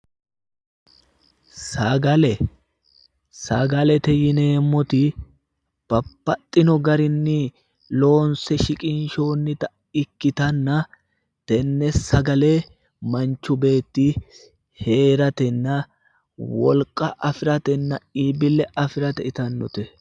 Sagale, sagalete yineemmoti babbaxino garinni loonse shiqinshoonnita ikkittanna tenne sagale manchu beetti heeratenna, wolqa afiratenna iibbille afirate itannote.